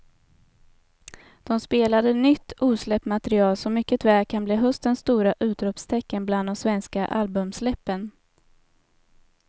De spelade nytt osläppt material som mycket väl kan bli höstens stora utropstecken bland de svenska albumsläppen.